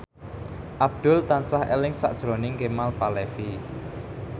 Abdul tansah eling sakjroning Kemal Palevi